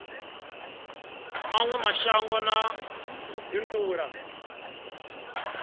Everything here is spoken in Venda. mawe mashango na u bindula